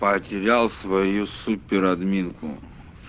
потерял свою супер админку